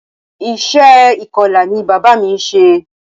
Iṣẹ́ ìkọla ni bàbá mí ń ṣe.